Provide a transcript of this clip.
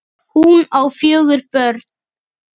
Hún á fjögur börn.